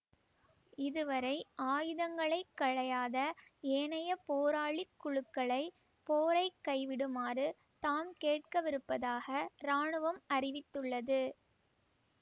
இதுவரை ஆயுதங்களை களையாத ஏனைய போராளி குழுக்களை போரை கைவிடுமாறு தாம் கேட்கவிருப்பதாக இராணுவம் அறிவித்துள்ளது